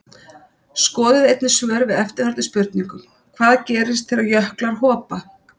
Skoðið einnig svör við eftirfarandi spurningum Hvað gerist þegar jöklar hopa?